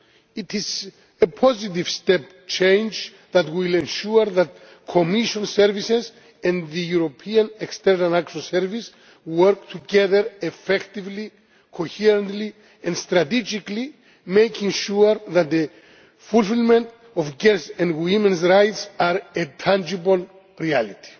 It is a positive step change that will ensure that the Commission's services and the European External Action Service work together effectively, coherently and strategically, making sure that the fulfilment of girls' and women's rights are a tangible reality.